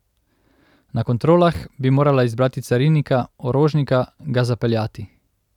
Na kontrolah bi morala izbrati carinika, orožnika, ga zapeljati.